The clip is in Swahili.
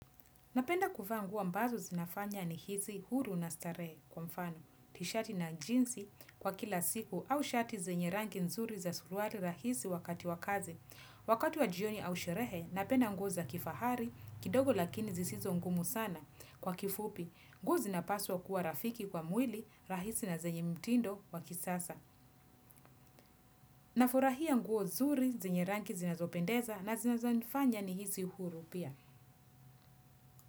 Napenda kuvaa nguo ambazo zinafanya nihisi huru na starehe kwa mfano, tishati na jinsi kwa kila siku au shati zenye ranki nzuri za suruari rahisi wakati wa kazi. Wakati wa jioni au sherehe, napenda nguo za kifahari kidogo lakini zisizo ngumu sana kwa kifupi. Nguo zinapaswa kuwa rafiki kwa mwili rahisi na zenye mtindo wa kisasa. Nafurahia nguo zuri zenye ranki zinazopendeza na zinazanifanya nihisi huru pia.